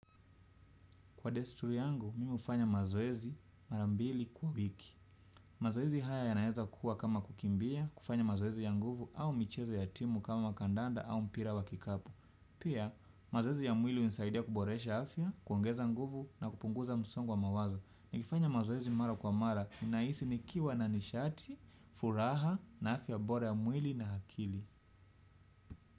Kwa desturi yangu, mimi hufanya mazoezi marambili kwa wiki. Mazoezi haya ya naeza kuwa kama kukimbia, kufanya mazoezi ya nguvu au michezo ya timu kama kandanda au mpira wa kikapu. Pia mazoezi ya mwili hunisaidia kuboresha afya kuongeza nguvu na kupunguza msongo wa mawazo nikifanya mazoezi mara kwa mara, ninahisi ni kiwa na nishati, furaha na afya bora ya mwili na akili.